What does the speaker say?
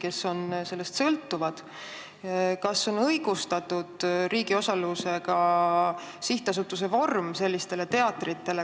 Kas selliste teatrite puhul on õigustatud riigi osalusega sihtasutuse vorm?